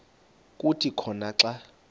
kuthi khona xa